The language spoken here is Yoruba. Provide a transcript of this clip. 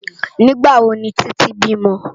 Nigbá wó ni Titi bímò?